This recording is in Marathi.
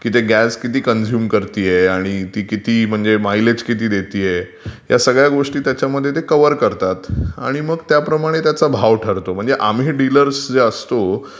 की गॅस किती कन्झ्युम करतेय आणि ती माइलेज किती देतेय त्याच्यमध्ये ते कव्हर करतात आणि मग त्याप्रमाणे त्याचा भाव ठरतो. म्हणजे आम्ही डिलर्स जे असतो,